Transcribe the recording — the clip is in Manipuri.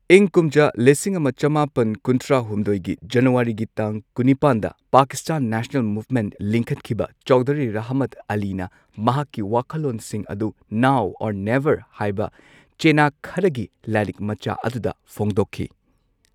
ꯏꯪ ꯀꯨꯝꯖꯥ ꯂꯤꯁꯤꯡ ꯑꯃ ꯆꯃꯥꯄꯟ ꯀꯨꯟꯊ꯭ꯔꯥ ꯍꯨꯝꯗꯣꯏꯒꯤ ꯖꯅꯨꯋꯥꯔꯤꯒꯤ ꯇꯥꯡ ꯀꯨꯟꯅꯤꯄꯥꯟꯗ ꯄꯥꯀꯤꯁꯇꯥꯟ ꯅꯦꯁꯅꯦꯜ ꯃꯨꯚꯃꯦꯟꯠ ꯂꯤꯡꯈꯠꯈꯤꯕ ꯆꯧꯙꯔꯤ ꯔꯍꯃꯠ ꯑꯂꯤꯅ ꯃꯍꯥꯛꯀꯤ ꯋꯥꯈꯜꯂꯣꯟꯁꯤꯡ ꯑꯗꯨ ꯅꯥꯎ ꯑꯣꯔ ꯅꯦꯚꯔ ꯍꯥꯏꯕ ꯆꯦꯅꯥ ꯈꯔꯒꯤ ꯂꯥꯏꯔꯤꯛ ꯃꯆꯥ ꯑꯗꯨꯗ ꯐꯣꯡꯗꯣꯛꯈꯤ꯫